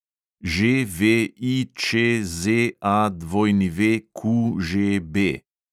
ŽVIČZAWQŽB